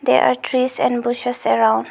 There are trees and bushes around.